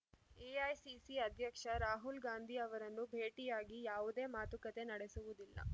AICC ಅಧ್ಯಕ್ಷ ರಾಹುಲ್‌ ಗಾಂಧಿ ಅವರನ್ನು ಭೇಟಿಯಾಗಿ ಯಾವುದೇ ಮಾತುಕತೆ ನಡೆಸುವುದಿಲ್ಲ